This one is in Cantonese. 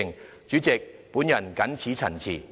代理主席，我謹此陳辭。